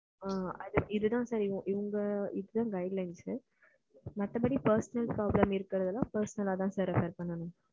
இது தான் sir இப்போ இவங்களுக்கு sir guidelines. மத்தபடி personal problem இருக்குறவுங்க எல்லாம் personal அ தான் பாத்துக்கணும்,